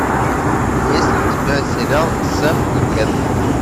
есть ли у тебя сериал сэм и кэт